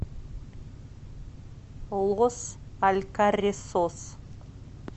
лос алькаррисос